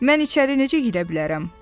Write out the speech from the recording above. Mən içəri necə girə bilərəm?"